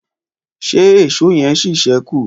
ṣe Èṣó yen sí sẹku?